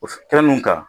O fɛn nunun kan